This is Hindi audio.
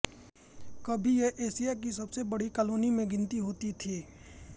कभी यह एशिया की सबसे बङी कालोनी में गिनती होती थी